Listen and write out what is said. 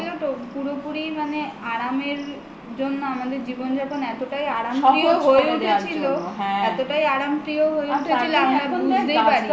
আসলে কি বলত পুরোপুরি মানে আরামের জন্য আমাদের জীবনযাপন এতটাই আরামের হয়ে উঠেছিল এতটাই আরামপ্রিয় হয়ে উঠেছিল